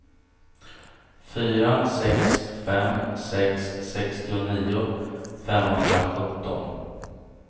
fyra sex fem sex sextionio femhundrasjutton